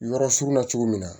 Yɔrɔ surunna cogo min na